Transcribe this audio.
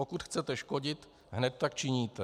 Pokud chcete škodit, hned tak činíte.